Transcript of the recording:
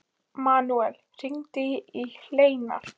Manuel, hringdu í Hleinar.